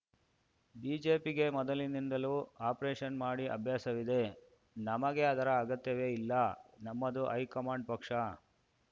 ಬಿಜೆಪಿಗೆ ಮೊದಲಿಂದಲೂ ಆಪರೇಷನ್‌ ಮಾಡಿ ಅಭ್ಯಾಸವಿದೆ ನಮಗೆ ಅದರ ಅಗತ್ಯವೇ ಇಲ್ಲ ನಮ್ಮದು ಹೈಕಮಾಂಡ್‌ ಪಕ್ಷ